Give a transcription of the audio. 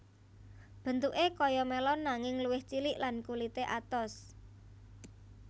Bentuké kaya melon nanging luwih cilik lan kulité atos